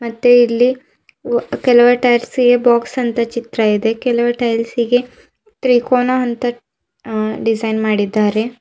ಮತ್ತೆ ಇಲ್ಲಿ ಕೆಲ ಟೈಯರ್ಸ್ ಬಾಕ್ಸ್ ಅಂತಾ ಚಿತ್ರ ಇದೆ ಕೆಲವ್ ಟೈಲ್ಸ್ಗೆ ಗೆ ತ್ರಿಕೋನ ಅಂತ ಅ ಡಿಸೈನ್ ಮಾಡಿದ್ದಾರೆ.